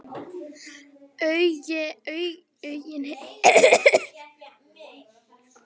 Áhuginn hefur ekkert dvínað síðan.